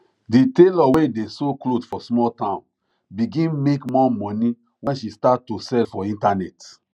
the tailor wey dey sew cloth for small town begin make more money when she start to sell for internet